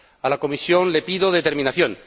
A la Comisión le pido determinación.